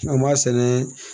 An b'a sɛnɛ